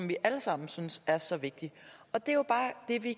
vi alle sammen synes er så vigtig og det